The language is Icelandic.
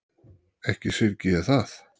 Ekki syrgi ég það.